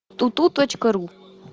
туту точка ру